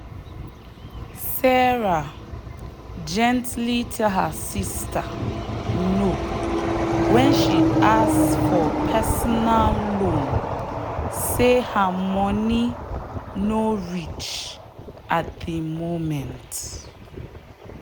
sarah gently tell her sister no when she ask for personal loan say her money no reach at the moment.